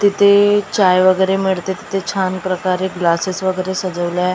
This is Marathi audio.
तिथे चाय वगैरे मिळते तिथे छान प्रकारे ग्लासेस वगैरे सजवले आहे.